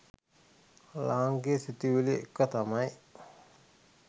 ලාංකීය සිතුවිලි එක තමයි